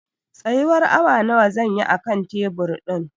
Tsayuwar awa nawa zan yi a kan tebur ɗin